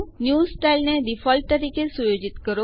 next style ને default તરીકે સુયોજિત કરો